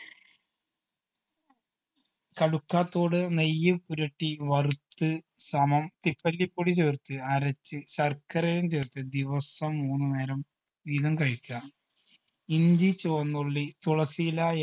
കടുക്കത്തോട് നെയ്യ് ഉരുട്ടി വറുത്ത് സമം തിപ്പല്ലിപ്പൊടി ചേർത്ത് അരച്ച് ശർക്കരയും ചേർത്ത് ദിവസം മൂന്ന് നേരം വീതം കഴിക്കുക ഇഞ്ചി ചുവന്നുള്ളി തുളസിയില